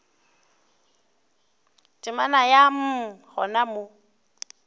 temana ya mm gona mo